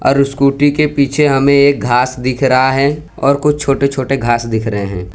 और स्कूटी के पीछे हमें एक घास दिख रहा है और कुछ छोटे छोटे घास दिख रहे हैं।